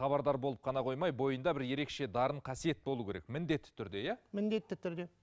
хабардар болып қана қоймай бойында бір ерекше дарын қасиет болу керек міндетті түрде иә міндетті түрде